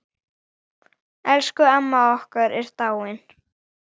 Elsku amma okkar er dáin.